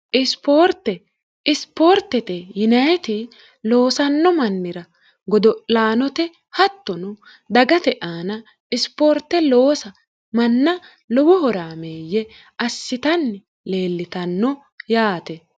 ioorteisipoortete yineeti loosanno mannira godo'laanote hattono dagate aana isipoorte loosa manna lowohoraameeyye assitanni leellitanno yaate